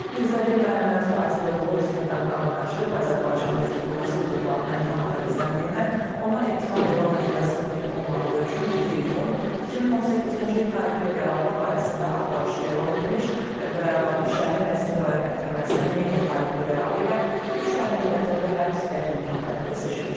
Mirzəli Məhəmməd Fazil oğlu istintaqdan qaçıb Azərbaycan Respublikası hüdudlarından kənarda gizləndiyindən ona ittiham elan edilməsi mümkün olmadığı üçün 2 iyun 2018-ci il tarixli qərarla barəsində axtarış elan edilmiş və Bakı şəhəri Nəsimi rayon məhkəməsinin eyni tarixli qərarı ilə üç ay müddətində həbs qətimkan tədbiri seçilmişdir.